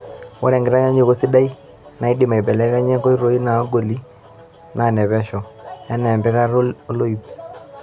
Ore enkitanyanyukoto sidai naidimi aibelekenyie nkoitoi naagoli naa nepesho, enaa empikata oloip.